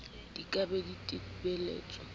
di ka be di thibetswe